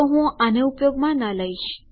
તો હું આને ઉપયોગમાં ન લઇશ